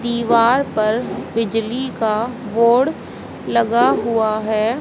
दीवार पर बिजली का बोर्ड लगा हुआ है।